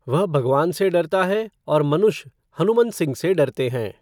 वह भगवान से डरता है, और मनुष्य हनुमंत सिंह से डरते हैं।